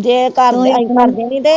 ਜੇ ਕਰਨ ਤੇ ਆਈ ਕਰ ਦਿੰਦੀ ਤੇ